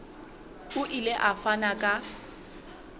o ile a fana ka